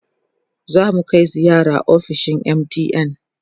zamu Kai ziyara ofishin MTN